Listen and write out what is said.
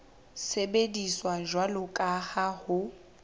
sebediswa jwalo ka ha ho